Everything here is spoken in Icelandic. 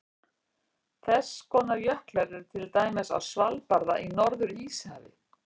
Þess konar jöklar eru til dæmis á Svalbarða í Norður-Íshafi.